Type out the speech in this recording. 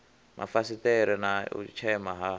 mafasiṱere na u tshema ha